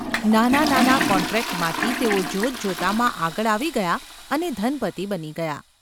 નાના નાના કૉન્ટ્રેક્ટમાંથી તેઓ જોતજોતામાં આગળ આવી ગયા અને ધનપતિ બની ગયા.